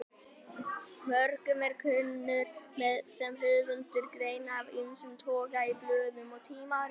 Mörgum er ég kunnur sem höfundur greina af ýmsum toga í blöðum og tímaritum.